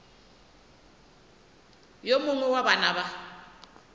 yo mongwe wa bana ba